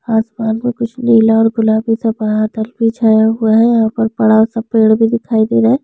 आसमान में कुछ नीला और गुलाबी सा बादल भी छाया हुआ है यहाँ पर बड़ा-सा पेड़ भी दिखाई दे रहा है।